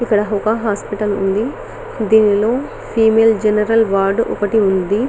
ఇక్కడ ఒక హాస్పిటల్ ఉంది దీనిలో ఫిమేల్ జనరల్ వార్డ్ ఒకటి ఉంది.